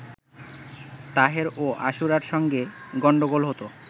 তাহের ও আশুরার সঙ্গে গণ্ডগোল হতো